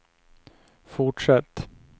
fortsätt